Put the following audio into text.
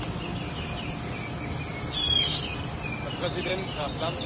Herr Präsident Graf Lambsdorff, meine sehr geehrten Damen und Herren, liebe Kolleginnen und Kollegen!